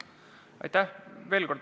Aitäh!